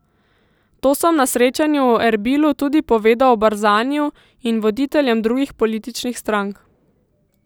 To sem na srečanju v Erbilu tudi povedal Barzaniju in voditeljem drugih političnih strank.